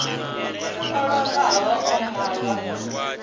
o lovhaho u malwa ha